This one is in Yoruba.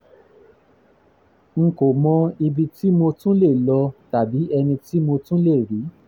n n kò mọ ibi tí mo tún lè lọ tàbí ẹni tí mo tún lè rí